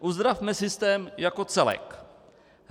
Uzdravme systém jako celek.